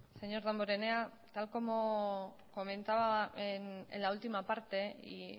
señor damborenea tal como comentaba en la última parte y